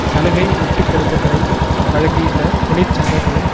சலுகை விட்டுக்கொடுப்பக்களை வழங்கியுள்ள தொழிற்சங்கங்களும்